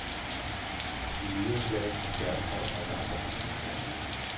I nyere slang har skærmtrold også andre betydninger.